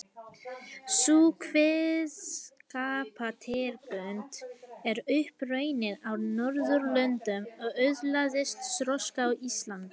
Sú kveðskapartegund er upp runnin á Norðurlöndum og öðlaðist þroska á Íslandi.